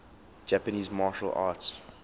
japanese martial arts